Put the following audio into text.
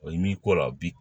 O i n'i ko la bi